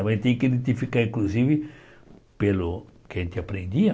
Mas a gente tem que identificar, inclusive, pelo que a gente aprendia,